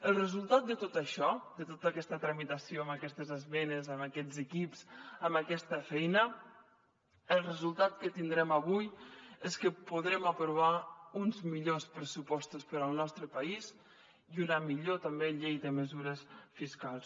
el resultat de tot això de tota aquesta tramitació amb aquestes esmenes amb aquests equips amb aquesta feina el resultat que tindrem avui és que podrem aprovar uns millors pressupostos per al nostre país i una millor també llei de mesures fiscals